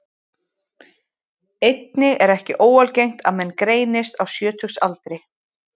Einnig er ekki óalgengt að menn greinist á sjötugsaldri.